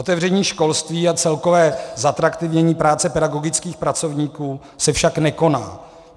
Otevření školství a celkové zatraktivnění práce pedagogických pracovníků se však nekoná.